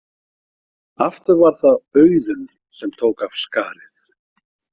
Aftur var það Auðunn sem tók af skarið.